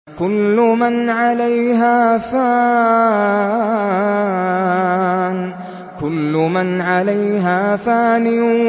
كُلُّ مَنْ عَلَيْهَا فَانٍ